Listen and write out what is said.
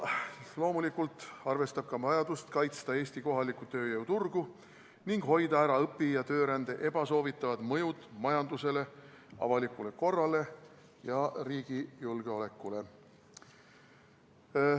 Loomulikult arvestab see ka vajadust kaitsta Eesti kohalikku tööjõuturgu ning hoida ära õpi- ja töörände ebasoovitavad mõjud majandusele, avalikule korrale ja riigi julgeolekule.